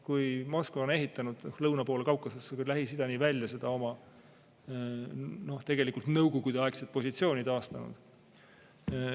Moskva on ehitanud lõuna pool Kaukasust kuni Lähis-Idani välja seda oma nõukogudeaegset positsiooni, seda taastanud.